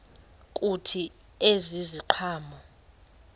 kuthi ezi ziqhamo